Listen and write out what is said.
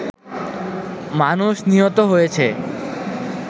মানুষ নিহত হয়েছে